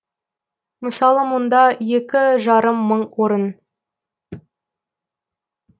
мысалы мұнда екі жарым мың орын